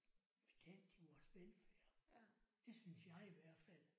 Betalt til vores velfærd. Det synes jeg i hvert fald